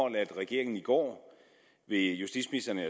at regeringen i går ved justitsministeren og